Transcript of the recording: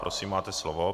Prosím máte slovo.